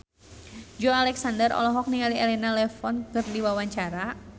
Joey Alexander olohok ningali Elena Levon keur diwawancara